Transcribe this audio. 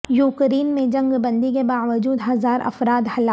Ukraine میں جنگ بندی کے باوجود ہزار افراد ہلاک